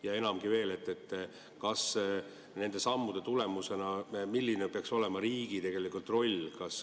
Ja enamgi veel, milline peaks nende sammude tulemusena olema riigi roll?